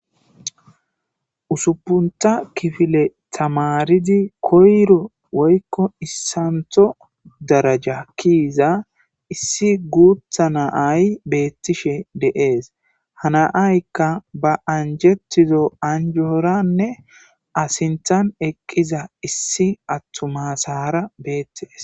usuppunta kifile tamaridi koyro woykko issantho daraja kiiza issi guutha naay beettishe deees hanaaykka ba anjettizo anjoranne asintan eqqiza issi attumasaara beettes